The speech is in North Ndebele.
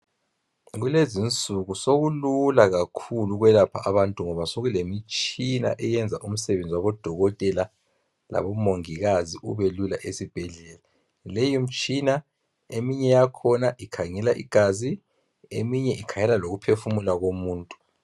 kulezinsuku sokulula kakhulu ukwelapha abantu ngoba sokulemitshina owenza umsebenzi wabo dokotela labomongikazi ubelula esibhedlela leyi mitshina eminye yakhona ikhangela igazi eminye ikhangela lokuphefumula komuntu